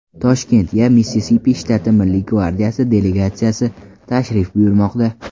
Toshkentga Missisipi shtati Milliy gvardiyasi delegatsiyasi tashrif buyurmoqda.